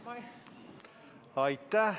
Aitäh!